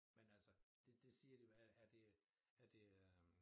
Men altså det det siger de er det er det øh